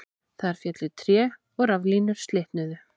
Þar féllu tré og raflínur slitnuðu